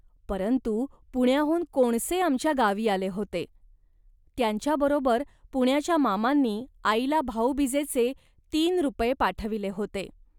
परंतु पुण्याहून कोणसे आमच्या गावी आले होते. त्यांच्या बरोबर पुण्याच्या मामांनी आईला भाऊबीजेचे तीन रुपये पाठविले होते